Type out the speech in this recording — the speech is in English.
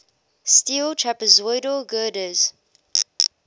steel trapezoidal girders